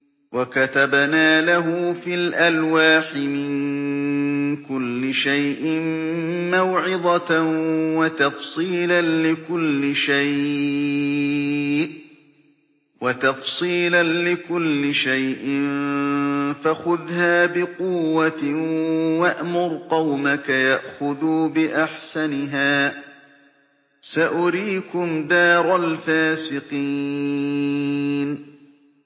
وَكَتَبْنَا لَهُ فِي الْأَلْوَاحِ مِن كُلِّ شَيْءٍ مَّوْعِظَةً وَتَفْصِيلًا لِّكُلِّ شَيْءٍ فَخُذْهَا بِقُوَّةٍ وَأْمُرْ قَوْمَكَ يَأْخُذُوا بِأَحْسَنِهَا ۚ سَأُرِيكُمْ دَارَ الْفَاسِقِينَ